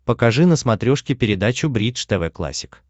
покажи на смотрешке передачу бридж тв классик